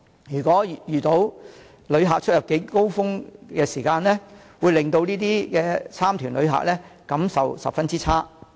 如果遇到旅客出入境高峰期，會令到這些旅行團旅客的感受十分差。